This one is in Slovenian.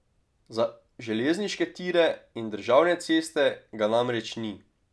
Za železniške tire in državne ceste ga namreč ni.